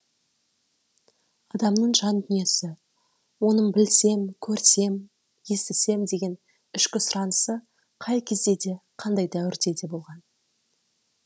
адамның жан дүниесі оның білсем көрсем естісем деген ішкі сұранысы қай кезде де қандай дәуірде де болған